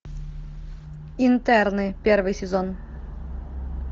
интерны первый сезон